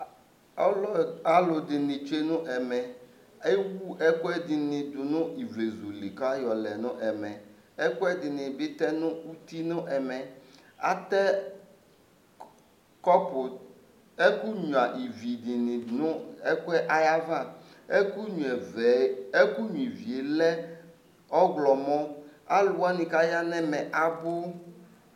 Alɩɛdɩnɩ tsʊe nʊ ɛmɛ Ewʊ ɛkʊɛdɩnɩ dʊ nʊ ivlezʊ lɩ kaƴɔlɛ nʊ ɛmɛ Ɛkʊɛdɩnɩ bɩ tɛ nʊtɩ nɛmɛ Atɛ ɛkʊ ɣnʊa ɩvɩ dʊnʊ aƴava Ɛkʊ ɣnʊa ɩvɩ lɛ ɔwlɔmɔ Alʊ wanɩ kaƴa nɛmɛ abʊ